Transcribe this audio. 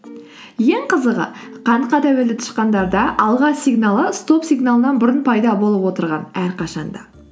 ең қызығы қантқа тәуелді тышқандарда алға сигналы стоп сигналынан бұрын пайда болып отырған әрқашанда